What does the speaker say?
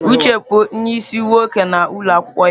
Uche bụ onye isi oche nwoke na ụlọ akwụkwọ ya.